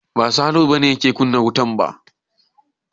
Ba Salihu ba ne yake kunna wutan ba.